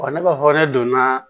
ne b'a fɔ ne donna